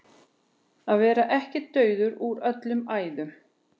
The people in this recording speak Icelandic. Að vera ekki dauður úr öllum æðum